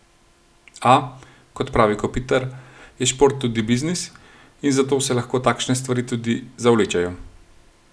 A, kot pravi Kopitar, je šport tudi biznis in zato se lahko takšne stvari tudi zavlečejo.